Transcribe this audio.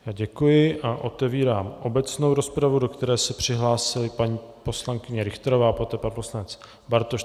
Já děkuji a otevírám obecnou rozpravu, do které se přihlásila paní poslankyně Richterová a poté pan poslanec Bartoš.